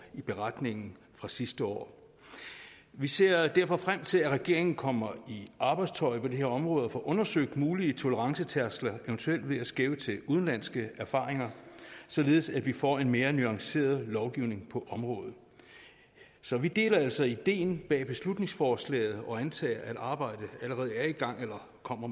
i beretningen fra sidste år vi ser derfor frem til at regeringen kommer i arbejdstøjet på det her område og får undersøgt mulige tolerancetærskler eventuelt ved at skæve til udenlandske erfaringer således at vi får en mere nuanceret lovgivning på området så vi deler altså ideen bag beslutningsforslaget og antager at arbejdet allerede er i gang eller kommer